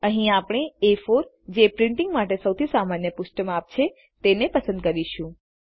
અહીં આપણે એ4 જે પ્રિન્ટીંગ માટે સૌથી સામાન્ય પૃષ્ઠ માપ છે તેને પસંદ કરીશું